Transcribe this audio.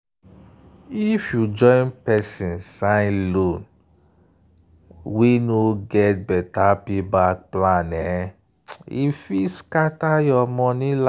if you join persin sign loan wey no get better payback plan e fit scatter your money life.